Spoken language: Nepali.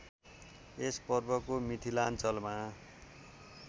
यस पर्वको मिथिलाञ्चलमा